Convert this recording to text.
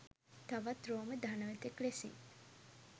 තවත් රෝම ධනවතෙක් ලෙසින්.